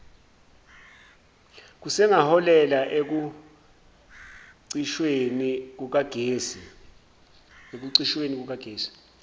kusangaholela ekucishweni kukagesi